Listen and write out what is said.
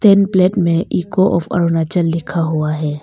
N plate में echo of Arunachal लिखा हुआ है।